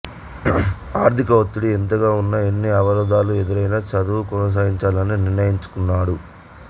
ఆర్థిక ఒత్తిడి ఎంతగా ఉన్నా ఎన్ని అవరోధాలు ఎదురైనా చదువు కొనసాగించాలని నిశ్చయించుకున్నాడు